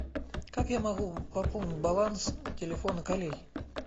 как я могу пополнить баланс телефона коллеги